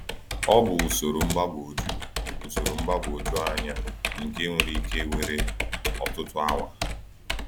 Ọ bụ usoro mgbagwoju usoro mgbagwoju anya nke nwere ike were ọtụtụ awa.